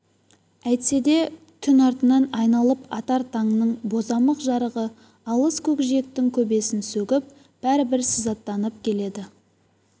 әйтсе де түн артынан айналып атар таңның бозамық жарығы алыс көкжиектің көбесін сөгіп бәрібір сызаттанып келеді